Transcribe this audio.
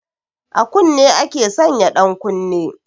A kunne ake sanya ɗankunne